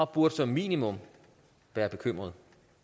burde som minimum være bekymrede